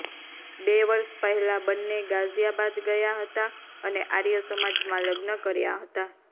બે વર્ષ પહેલા બંને ગાઝિયાબાદ ગયા હતા અને આર્ય સમાજમાં લગ્ન કર્યા હતા